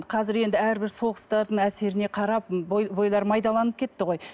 қазір енді әрбір соғыстардың әсеріне қарап бойлары майдаланып кетті ғой